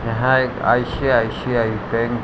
यहाँ एक ICICI bank --